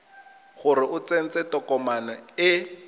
gore o tsentse tokomane e